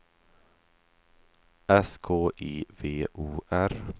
S K I V O R